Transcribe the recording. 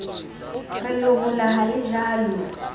re lehola ha le jalwe